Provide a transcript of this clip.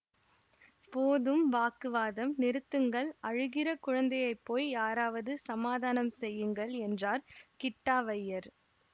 போதும் வாக்கு வாதம் நிறுத்துங்கள் அழுகிற குழந்தையை போய் யாராவது சமாதானம் செய்யுங்கள் என்றார் கிட்டாவய்யர்